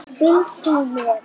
Fylg þú mér.